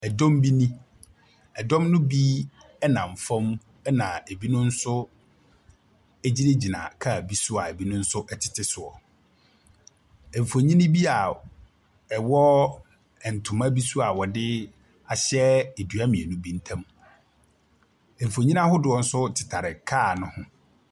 Ɛdɔm bi nie. Ɛdɔm no bi nam fam, ɛna ɛbinom nso gyinagyina car bi so a binom nso tete so. Mfonin bi a ɛwɔ ntoma bi so a wɔde ahyɛ dua mmienu bi ntam. Mfonin ahodoɔ nso tetare car no ho.